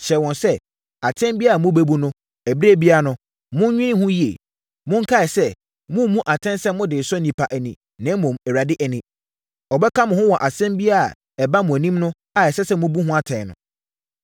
hyɛɛ wɔn sɛ, “Atɛn biara a mobɛbu no ɛberɛ biara no, monnwene ho yie. Monkae sɛ, moremmu atɛn sɛ mode resɔ nnipa ani, na mmom, Awurade ani. Ɔbɛka mo ho wɔ asɛm biara a ɛba mo anim a ɛsɛ sɛ mobu ho atɛn no.